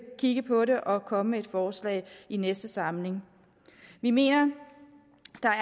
kigge på det og komme med et forslag i næste samling vi mener